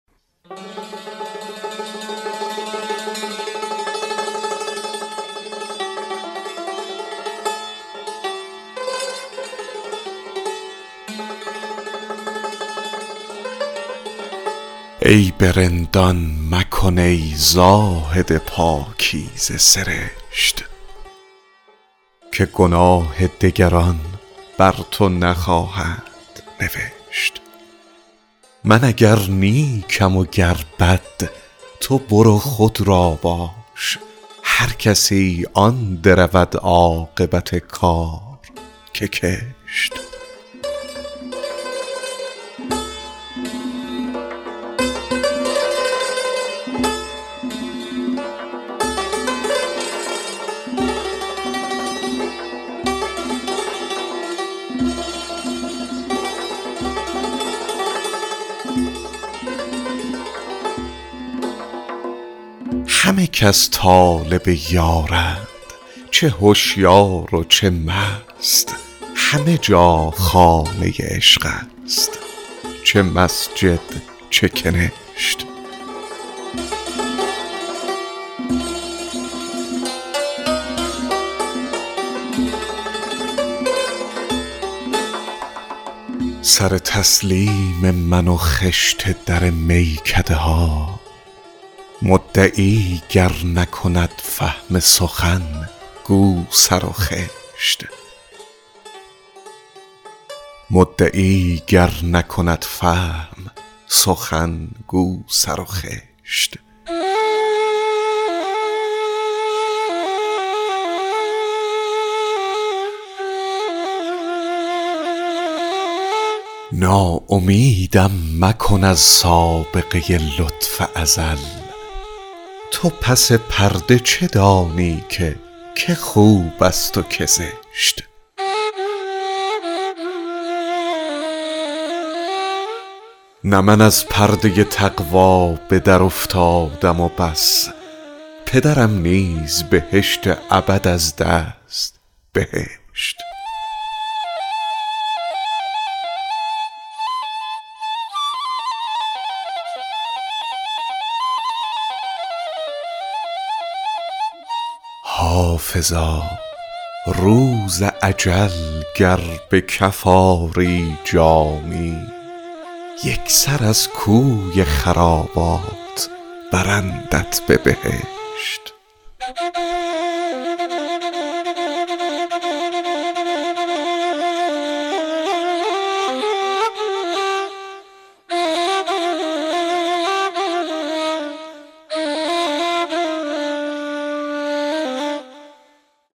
عیب رندان مکن ای زاهد پاکیزه سرشت که گناه دگران بر تو نخواهند نوشت من اگر نیکم و گر بد تو برو خود را باش هر کسی آن درود عاقبت کار که کشت همه کس طالب یارند چه هشیار و چه مست همه جا خانه عشق است چه مسجد چه کنشت سر تسلیم من و خشت در میکده ها مدعی گر نکند فهم سخن گو سر و خشت ناامیدم مکن از سابقه لطف ازل تو پس پرده چه دانی که که خوب است و که زشت نه من از پرده تقوا به درافتادم و بس پدرم نیز بهشت ابد از دست بهشت حافظا روز اجل گر به کف آری جامی یک سر از کوی خرابات برندت به بهشت